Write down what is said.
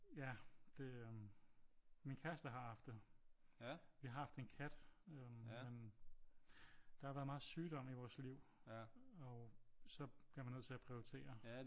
Ja det øh min kæreste har haft det. Vi har haft en kat øh men der har været meget sygdom i vores liv og så bliver man nødt til at prioritere